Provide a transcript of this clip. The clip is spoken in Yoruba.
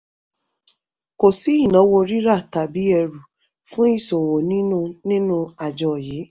kò sí ìnáwó rírà tàbí ẹrù fún ìṣòwò nínú nínú àjọ yìí.